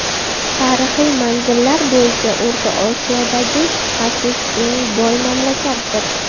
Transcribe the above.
Tarixiy manzillar bo‘yicha O‘rta Osiyodagi shubhasiz eng boy mamlakatdir.